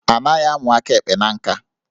A naghị amụ aka ekpe na nka